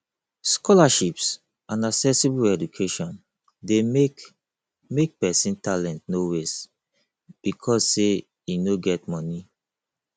scholarships and accessible education de make make persin talent no waste because say e no get moni